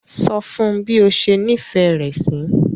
So fún bi o ṣe nifẹ rẹ sí.